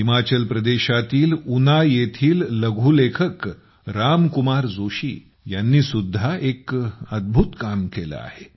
हिमाचल प्रदेशातील उना येथील लघुलेखक राम कुमार जोशी यांनी सुद्धा एक अद्भुत काम केले आहे